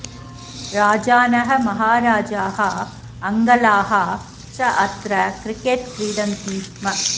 राजानः महाराजाः अङ्गलाः च अत्र क्रिकेट् क्रीडन्ति स्म